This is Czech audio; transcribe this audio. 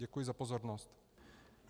Děkuji za pozornost.